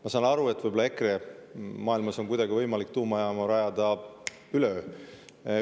Ma saan aru, et võib-olla EKRE maailmas on kuidagi võimalik tuumajaama rajada üleöö.